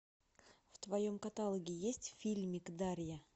в твоем каталоге есть фильмик дарья